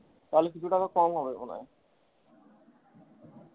তালে কিছু টাকা কম হবে মনে হয়।